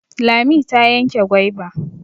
Lami ta yanke gwaiba.